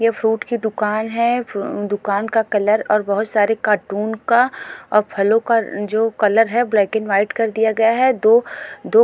ये फ्रूट की दुकान है अ दुकान का कलर और बहुत सारे कार्टून का और फलों का जो कलर है ब्लैक एंड व्हाइट कर दिया गया है दो दो --